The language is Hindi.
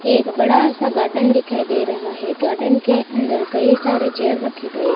एक बड़ा सा गार्डन दिखाई दे रहा है गार्डन के अंदर कई सारे चेयर रखे गए--